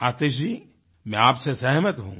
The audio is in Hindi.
आतिश जी मैं आपसे सहमत हूँ